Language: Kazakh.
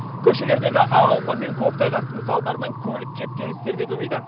көшелердегі ақ ұлпа мен көктайғақтың салдарынан көлік кептелістері де көбейді